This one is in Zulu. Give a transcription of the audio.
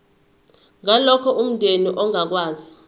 ngalokho umndeni ongakwazi